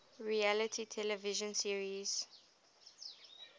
reality television series